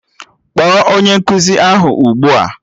Kpọọ onye nkụzi ahụ ugbua!